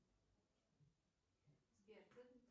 сбер